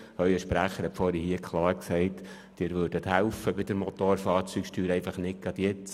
Ihr Sprecher hat soeben klar gesagt, Sie würden bei der Motorfahrzeugsteuer helfen, aber nicht gerade jetzt.